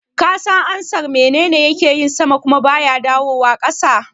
Ka san ansar "Menene yake yin sama kuma baya dawowa ƙasa"?